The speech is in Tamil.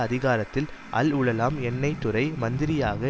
அதிகாரத்தில் அல்உலெளம் எண்ணெய்த்துறை மந்திரியாக